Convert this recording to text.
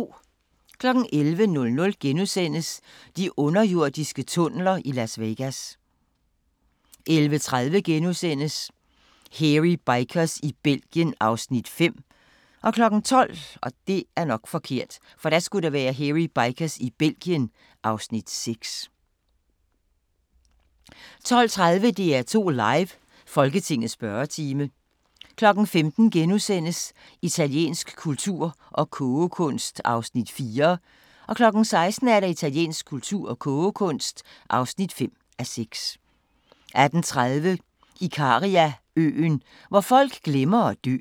11:00: De underjordiske tunneler i Las Vegas * 11:30: Hairy Bikers i Belgien (Afs. 5)* 12:00: Hairy Bikers i Belgien (Afs. 6) 12:30: DR2 Live: Folketingets spørgetime 15:00: Italiensk kultur og kogekunst (4:6)* 16:00: Italiensk kultur og kogekunst (5:6) 18:30: Ikariaøen – hvor folk glemmer at dø